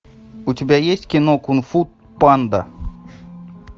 у тебя есть кино кунг фу панда